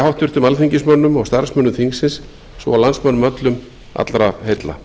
háttvirtum alþingismönnum og starfsmönnum þingsins svo og landsmönnum öllum allra heilla